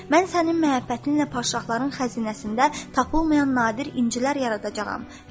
Mən sənin məhəbbətinlə padşahların xəzinəsində tapılmayan nadir incilər yaradacağam.